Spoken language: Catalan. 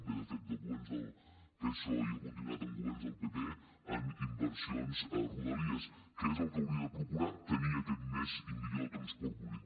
ve de fet dels governs del psoe i ha continuat amb governs del pp en inversions a rodalies que és el que hauria de procurar tenir aquest més i millor transport públic